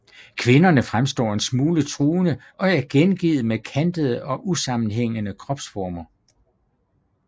Kvinderne fremstår en smule truende og er gengivet med kantede og usammenhængende kropsformer